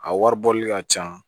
A wari bɔli ka ca